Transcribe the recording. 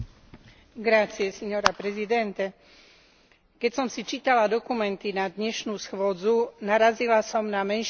Keď som si čítala dokumenty na dnešnú schôdzu, narazila som na menšinové stanovisko kolegov zo zjednotenej ľavice.